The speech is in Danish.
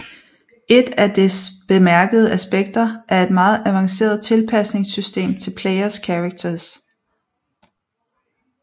Et af dets bemærkede aspekter er et meget avanceret tilpasningssystem til player characters